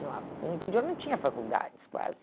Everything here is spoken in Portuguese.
No ah no interior não tinha faculdades, quase.